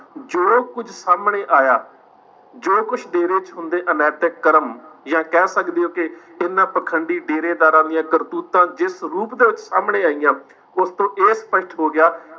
ਜੋ ਕੁੱਝ ਸਾਹਮਣੇ ਆਇਆ, ਜੋ ਕੁਛ ਡੇਰੇ ਚ ਹੁੰਦੇ ਅਨੈਤਿਕ ਕਰਮ ਜਾਂ ਕਹਿ ਸਕਦੇ ਹੋ ਕਿ ਇਹਨਾਂ ਪਾਖੰਡੀ ਡੇਰੇਦਾਰਾਂ ਦੀਆਂ ਕਰਤੂਤਾਂ ਜਿਸ ਰੂਪ ਦੇ ਵਿੱਚ ਸਾਹਮਣੇ ਆਈਆਂ, ਉਸ ਤੋਂ ਇਹ ਸਪਸ਼ਟ ਹੋ ਗਿਆ,